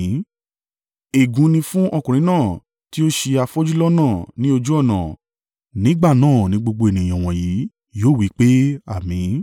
“Ègún ni fún ọkùnrin náà tí ó ṣi afọ́jú lọ́nà ní ojú ọ̀nà.” Nígbà náà ni gbogbo ènìyàn wọ̀nyí yóò wí pé, “Àmín!”